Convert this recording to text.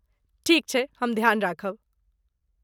ठीक छैक। हम ध्यान राखब।